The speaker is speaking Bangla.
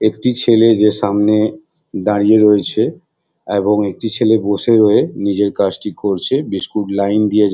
একটি ছেলে যে সামনে দাঁড়িয়ে রয়েছে এবং একটি ছেলে বসে রয়ে নিজের কাজ টি করছে বিস্কুট লাইন দিয়ে --